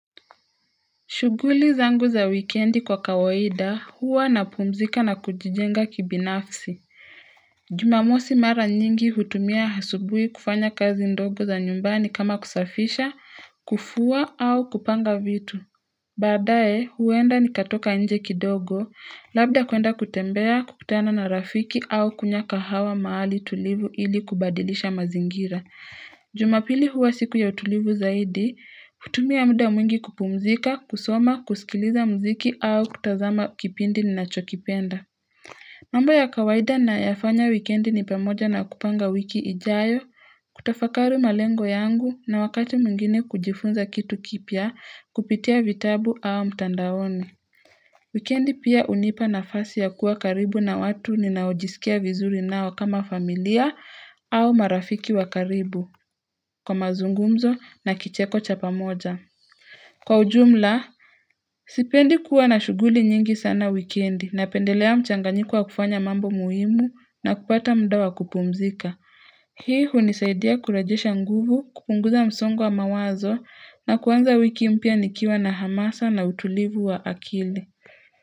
Shughuli zangu za weekendi kwa kawaida, huwa na pumzika na kujijenga kibinafsi. Jumamosi mara nyingi hutumia asubui kufanya kazi ndogo za nyumbani kama kusafisha, kufua au kupanga vitu. Badae, huenda ni katoka nje kidogo, labda kuenda kutembea, kukutana na rafiki au kunywa kahawa mahali tulivu ili kubadilisha mazingira. Jumapili huwa siku ya utulivu zaidi, kutumia muda mwingi kupumzika, kusoma, kusikiliza mziki au kutazama kipindi ni nachokipenda. Mamba ya kawaida na yafanya wikendi ni pamoja na kupanga wiki ijayo, kutafakari malengo yangu na wakati mwingine kujifunza kitu kipya, kupitia vitabu au mtandaoni Wikendi pia unipa nafasi ya kuwa karibu na watu ninaojisikia vizuri nao kama familia au marafiki wa karibu kwa mazungumzo na kicheko chapamoja. Kwa ujumla, sipendi kuwa na shughuli nyingi sana wikiendi na pendelea mchanganyiko wa kufanya mambo muhimu na kupata mda wa kupumzika. Hii hunisaidia kurejesha nguvu, kupunguza msongo wa mawazo na kuanza wiki mpya nikiwa na hamasa na utulivu wa akili.